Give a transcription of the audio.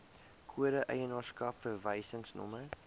kode eienaarskap verwysingsnommer